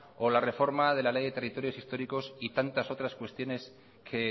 o la reforma de la ley de territorios históricos y tantas otras cuestiones que